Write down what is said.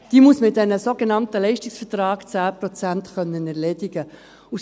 Die muss man in den sogenannten Leistungsvertrags-10-Prozent erledigen können.